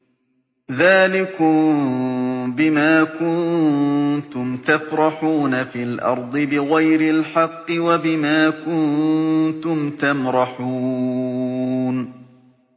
ذَٰلِكُم بِمَا كُنتُمْ تَفْرَحُونَ فِي الْأَرْضِ بِغَيْرِ الْحَقِّ وَبِمَا كُنتُمْ تَمْرَحُونَ